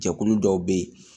Jɛkulu dɔw bɛ yen